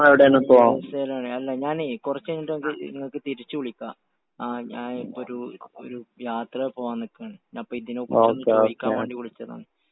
ഞാന് യു.എസ്.എ യിലാണ്, ഞാനേ..ഞാന് കുറച്ചുകഴിഞ്ഞിട്ട് നിങ്ങക്ക് തിരിച്ചുവിളിക്കാം.ഞാൻ ഒരു യാത്ര പോകാൻ നിൽക്കുവാണ്.അപ്പൊ ഇതിനെക്കുറിച്ചൊന്നു ചോദിയ്ക്കാൻ വേണ്ടി വിളിച്ചതാണ്.